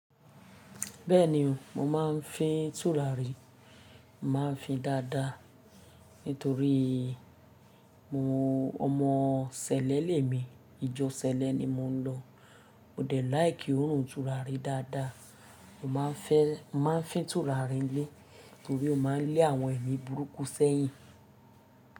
Bẹ́ẹ̀ni o, mo máa ń fín tùràrí, màá fi dáadáa nítorí mo ọmọ sẹlẹ lé mi, ìjọ sẹlẹ ni mo ń lọ. O dẹ̀ láìkí òórùn tùràrí dáadáa, mo máa ń fẹ́, mo máa ń fín tùràrí nílé torí ó máa ń lé àwọn ẹmi burúkú sẹ́yìn.